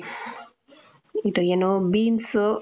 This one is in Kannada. ಇದು ಏನು, beans,